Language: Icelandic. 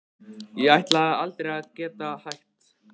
Ég ætlaði aldrei að geta hætt.